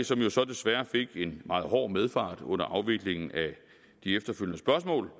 som jo desværre fik en meget hård medfart under afviklingen af de efterfølgende spørgsmål